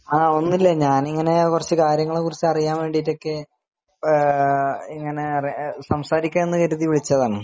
ഒന്നുമില്ല ഞാനിങ്ങനെ കുറച്ച് കാര്യങ്ങളെ കുറിച്ച് അറിയാൻ വേണ്ടിയിട്ട് സംസാരിക്കാൻ എന്ന് കരുതി വിളിച്ചതാണ്